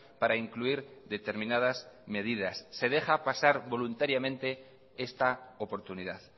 para incluir determinadas medidas se deja pasar voluntariamente esta oportunidad